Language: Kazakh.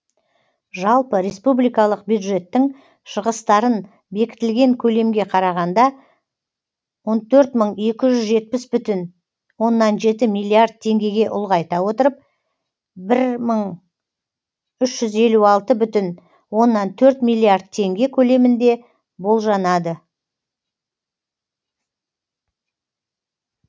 жалпы республикалық бюджеттің шығыстарын бекітілген көлемге қарағанда он төрт мың екі жүз жетпіс бүтін оннан жеті миллиард теңгеге ұлғайта отырып бір мың үш жүз елу алты бүтін оннан төрт миллиард теңге көлемінде болжанады